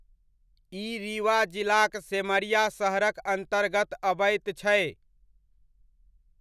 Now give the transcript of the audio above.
ई रीवा जिलाक सेमरिया शहरक अन्तर्गत अबैत छै।